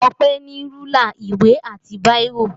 Ọpẹ́ ní rúlà, ìwé àti bírò.